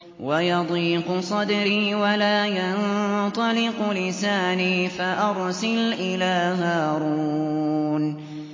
وَيَضِيقُ صَدْرِي وَلَا يَنطَلِقُ لِسَانِي فَأَرْسِلْ إِلَىٰ هَارُونَ